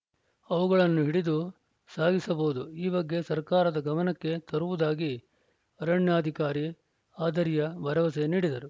ಅವುಗಳನ್ನು ಹಿಡಿದು ಸಾಗಿಸಬಹುದು ಈ ಬಗ್ಗೆ ಸರ್ಕಾರದ ಗಮನಕ್ಕೆ ತರುವುದಾಗಿ ಅರಣ್ಯಾಧಿಕಾರಿ ಆದರ್ಯ ಭರವಸೆ ನೀಡಿದರು